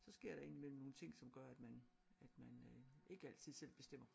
Så sker der ind i mellem nogle ting som gør at man at man øh ikke altid selv bestemmer